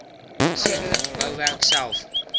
sekere bouwerk self